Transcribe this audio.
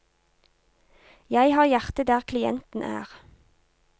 Jeg har hjertet der klienten er.